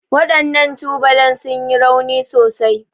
Waɗannan tubalan sun yi rauni sosai.